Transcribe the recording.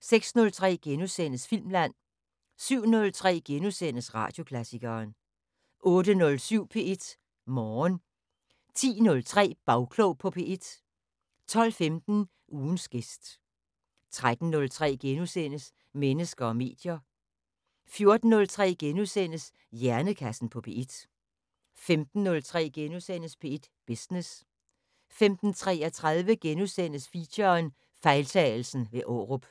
06:03: Filmland * 07:03: Radioklassikeren * 08:07: P1 Morgen 10:03: Bagklog på P1 12:15: Ugens gæst 13:03: Mennesker og medier * 14:03: Hjernekassen på P1 * 15:03: P1 Business * 15:33: Feature: Fejltagelsen ved Aarup *